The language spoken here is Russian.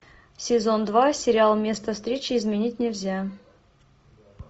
сезон два сериал место встречи изменить нельзя